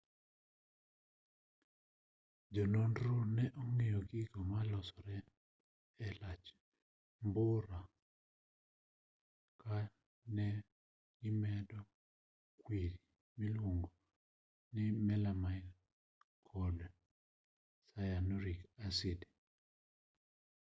jononro ne ong'iyo gigo ma losore e lach mbura ka ne gimedo kwiri miluongoni melamine kod cyanuric acid